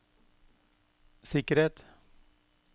sikkerhet